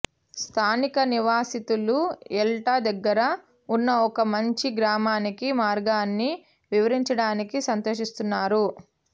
స్థానిక నివాసితులు యల్టా దగ్గర ఉన్న ఒక మంచి గ్రామానికి మార్గాన్ని వివరించడానికి సంతోషిస్తున్నారు